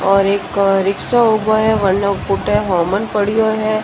और एक रिक्क्षा उबा है --